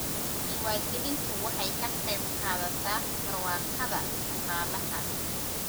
Diiwaangelintu waxay ka qayb qaadataa barwaaqada dhaqaalaha.